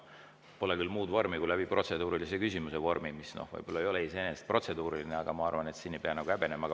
Pole küll muud vormi kui protseduuriline küsimus, kuigi see võib-olla ei ole iseenesest protseduuriline, aga ma arvan, et siin ei pea häbenema.